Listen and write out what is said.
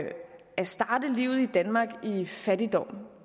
starte livet i danmark i fattigdom